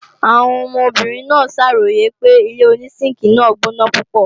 Àwọn ọmọbìnrin náà ṣàròyè pé ilé-onísínkìi náà gbóná púpọ̀